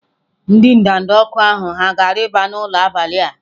Ndị ndanda ọkụ ahụ hà ga-arịba n'ụlọ n'abalị a?